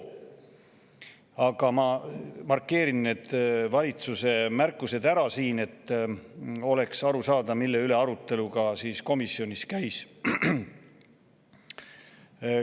Aga ma markeerin need valitsuse märkused ära, et oleks aru saada, mille üle komisjonis arutelu käis.